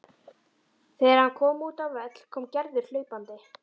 Þegar hann kom út á völl kom Gerður hlaupandi.